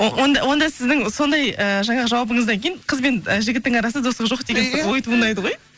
о онда онда сіздің сондай ііі жаңағы жауабыңыздан кейін қыз бен ы жігіттің арасында достық жоқ деген ой туындайды ғой